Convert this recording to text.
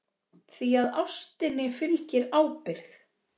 Því að ástinni fylgir ábyrgð.